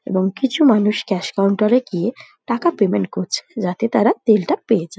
এবং কিছু মানুষ ক্যাশ কাউন্টার -এ গিয়ে টাকা পেমেন্ট করছে যাতে তারা তেলটা পেয়ে যা --